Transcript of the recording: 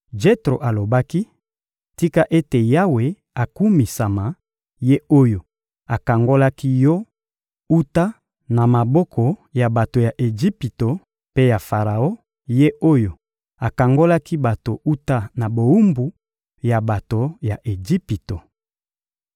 Jetro alobaki: — Tika ete Yawe akumisama, Ye oyo akangolaki yo wuta na maboko ya bato ya Ejipito mpe ya Faraon, Ye oyo akangolaki bato wuta na bowumbu ya bato ya Ejipito.